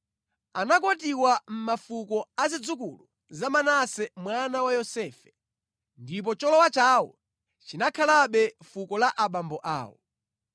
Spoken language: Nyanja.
Anakwatiwa mʼmafuko a zidzukulu za Manase mwana wa Yosefe, ndipo cholowa chawo chinakhalabe mʼfuko la abambo awo.